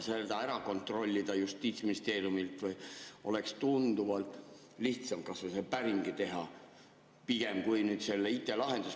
Seda kontrollida oleks Justiitsministeeriumis tunduvalt lihtsam kui teha IT-lahendus, võiks pigem kas või päringu teha.